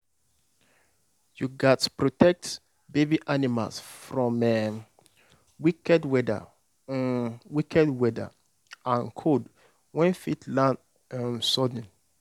you gats protect baby animals from um wicked weather um wicked weather and cold wey fit land um sudden.